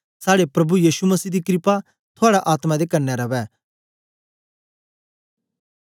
साड़े प्रभु यीशु मसीह दी क्रपा थूआडी आत्मा दे कन्ने रवै